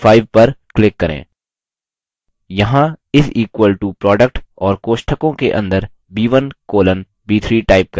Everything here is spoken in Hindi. यहाँ is equal to product और कोष्ठकों के अंदर b1 colon b3 type करें